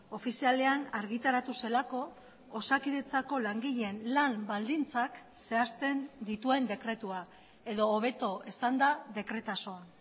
ofizialean argitaratu zelako osakidetzako langileen lan baldintzak zehazten dituen dekretua edo hobeto esanda dekretazoa